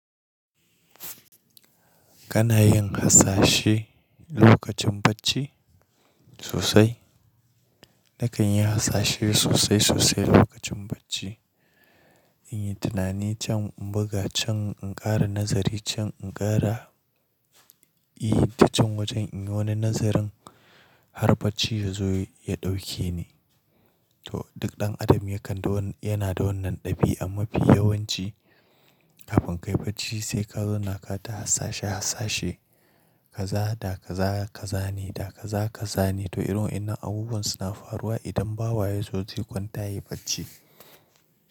Kana yin hasashe lokacin bacci? Sosai Nakan yi hasashe sosai sosai lokacin bacci. In yi tunani can in buga can in ƙara nazari can in ƙara yi ta can wajen in yi wani nazarin har bacci ya zo ya ɗauke ni. To duk ɗan adam yana da wannan ɗabi'an mafi yawanci kafin kai bacci sai ka zauna ka ta hasashe hasashe kaza da kaza kazane da kaza kazane to irin wannan abubuwan suna faruwa idan bawa ya zo zai kwanta yi bacci.